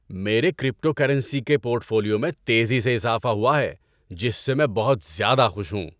میرے کریپٹوکرنسی کے portfolio میں تیزی سے اضافہ ہوا ہے جس سے میں بہت زیادہ خوش ہوں۔